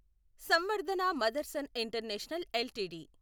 Samvardhana Motherson international LTD